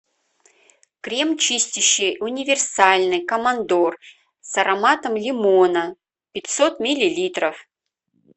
крем чистящий универсальный командор с ароматом лимона пятьсот миллилитров